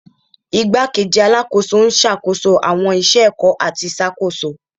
Igbakeji Alakoso n ṣakoso awọn iṣẹ ẹkọ ati iṣakoso